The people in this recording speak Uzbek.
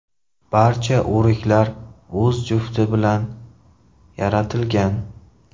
Barcha o‘riklar o‘z jufti bilan yaratilgan.